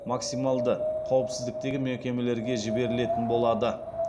максималды қауіпсіздіктегі мекемелерге жіберілетін болады